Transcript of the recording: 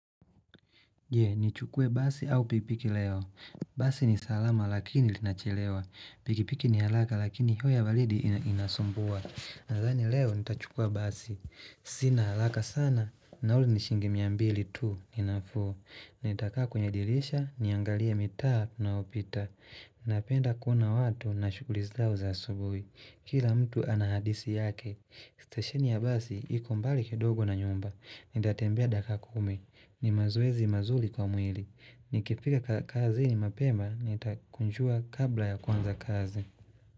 Je, ni chukue basi au pikipiki leo. Basi ni salama lakini linachelewa. Pikipiki ni haraka lakini hewa ya baridi inasumbua. Nadhani leo ni tachukua basi. Sina haraka sana nauli ni shilingi mia mbili tuu ni nafuu Nitakaa kwenye dirisha niangalie mitaa ninaopita Napenda kuona watu na shughuli zao za asubuhi Kila mtu ana hadisi yake Stesheni ya basi iko mbali kidogo na nyumba Nitatembea dakika kumi ni mazoezi mazuri kwa mwili Nikifika kazini mapema Nitakunjua kabla ya kuanza kazi.